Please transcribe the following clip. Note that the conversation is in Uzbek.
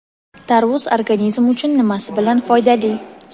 Tarvuz organizm uchun nimasi bilan foydali?.